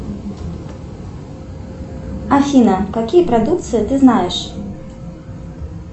афина какие продукции ты знаешь